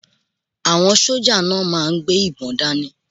Àwọn sójà náà máà ń gbé ìbọn dáni